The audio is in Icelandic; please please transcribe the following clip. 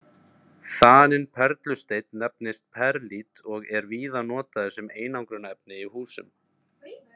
Þaninn perlusteinn nefnist perlít og er víða notaður sem einangrunarefni í húsum.